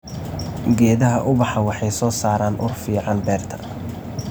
Geedaha ubaxa waxay soo saaraan ur fiican beerta.